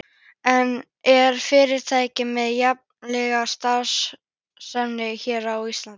En er fyrirtækið með einhverja starfsemi hér á Íslandi?